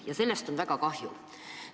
Ja sellest on väga kahju.